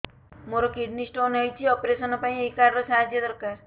ମୋର kidney stone ହଇଛି operation ପାଇଁ ଏହି କାର୍ଡ ର ସାହାଯ୍ୟ ଦରକାର